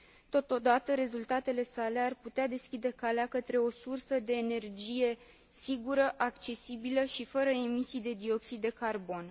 Totodată, rezultatele sale ar putea deschide calea către o sursă de energie sigură, accesibilă și fără emisii de dioxid de carbon.